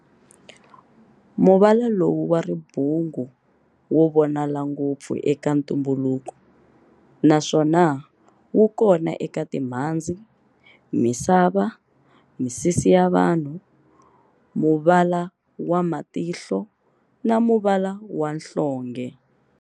Muvala lowu wa ribungu wo vonala ngopfu eka ntumbuluko, naswona wukona eka timhandzi, misava, misisi ya vanhu, muvala wa matihlo na muvala wa nhlonge.